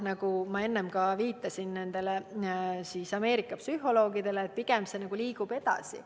Nagu ma enne ütlesin, viidates Ameerika psühholoogidele, liigutakse pigem edasi.